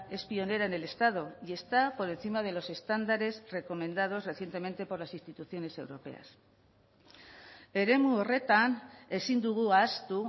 es pionera en el estado y está por encima de los estándares recomendados recientemente por las instituciones europeas eremu horretan ezin dugu ahaztu